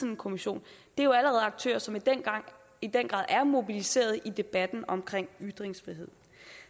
en kommission det er jo allerede aktører som i den grad er mobiliseret i debatten omkring ytringsfrihed